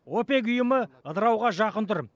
опек ұйымы ыдырауға жақын тұр